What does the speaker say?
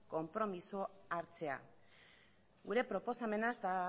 konpromisoa hartzea gure proposamena ez da